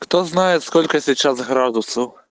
кто знает сколько сейчас градусов